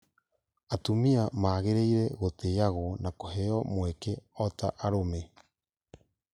Atumia magĩrĩire gũtĩĩagwo na kũheo mweke o ta arũme